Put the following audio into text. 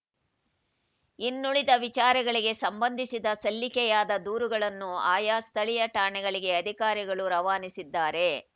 ಇನ್ನುಳಿದ ವಿಚಾರಗಳಿಗೆ ಸಂಬಂಧಿಸಿದ ಸಲ್ಲಿಕೆಯಾದ ದೂರುಗಳನ್ನು ಆಯಾ ಸ್ಥಳೀಯ ಠಾಣೆಗಳಿಗೆ ಅಧಿಕಾರಿಗಳು ರವಾನಿಸಿದ್ದಾರೆ